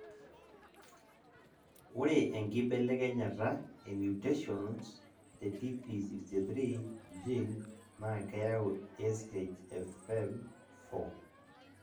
ore enkibelekenyata e mutations te TP63 gene naa keyau SHFM 4